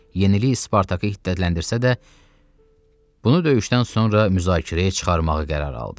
Yenilik Spartakı hiddətləndirsə də, bunu döyüşdən sonra müzakirəyə çıxarmağı qərar aldı.